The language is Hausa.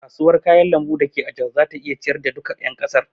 Kasuwar kayan lambu dake a jos zata iya ciyar da duka ƴan kasar.